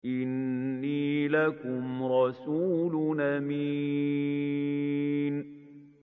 إِنِّي لَكُمْ رَسُولٌ أَمِينٌ